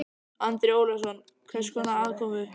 Andri Ólafsson: Hvers konar aðkomu?